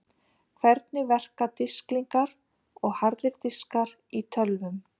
Hvernig verka disklingar og harðir diskar í tölvum?